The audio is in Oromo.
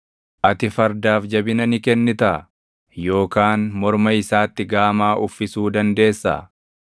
“Ati fardaaf jabina ni kennitaa? Yookaan morma isaatti gama uffisuu dandeessaa?